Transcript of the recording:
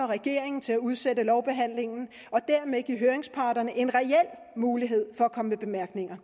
regeringen til at udsætte lovbehandlingen og dermed give høringsparterne en reel mulighed for at komme med bemærkninger